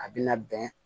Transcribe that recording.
A bina bɛn